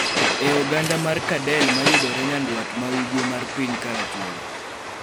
e oganda mar Kadel ma yudore nyandwat ma ugwe mar piny Karachuonyo.